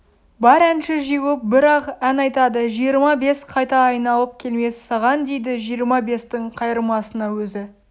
бар әнші жиылып бір-ақ ән айтады жиырма бес қайта айналып келмес саған дейді жиырма-бестің қайырмасына өзі